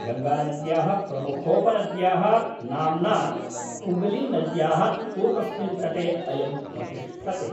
गङ्गानद्याः प्रमुखोपनद्याः नाम्ना हुगलीनद्याः पूर्वस्मिन् तटे अयं प्रतिष्ठते।